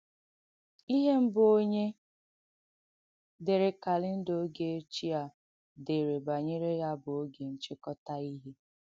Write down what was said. Ihe mbụ̀ onye dèrē kàlèndà ògē ọ̀chiẹ à dèrē banyere ya bụ̀ ògē nchìkọ́tà ihe.